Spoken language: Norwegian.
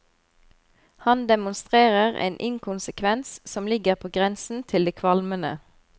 Han demonstrerer en inkonsekvens som ligger på grensen til det kvalmende.